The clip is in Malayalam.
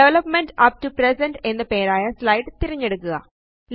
ഡെവലപ്പ്മെന്റ് അപ്പ് ടോ പ്രസന്റ് എന്നു പേരായ സ്ലൈഡ് തിരഞ്ഞെടുക്കുക